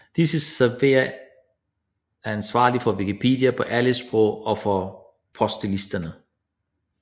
Disse servere er ansvarlige for Wikipedia på alle sprog og for postlisterne